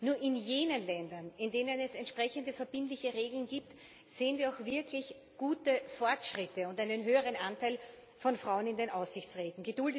Nur in jenen Ländern, in denen es entsprechende verbindliche Regeln gibt, sehen wir auch wirklich gute Fortschritte und einen höheren Anteil von Frauen in den Aufsichtsräten.